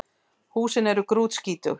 Húsin séu grútskítug